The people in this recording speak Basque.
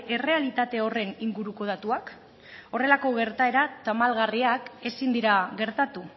errealitate horren inguruko datuak horrelako gertaera tamalgarriak ezin dira gertatu